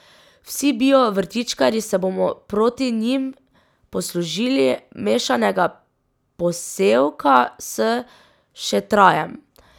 Vsi bio vrtičkarji se bomo proti njim poslužili mešanega posevka s šetrajem.